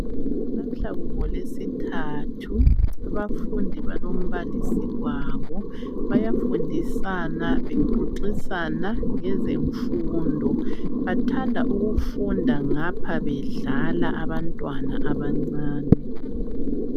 Lamuhla ngoLweSithathu, abafundi balombalisi wabo. Bayafundisana bexoxisana ngezemfundo. Bathanda ukufunda ngapha bedlala abantwana abancane .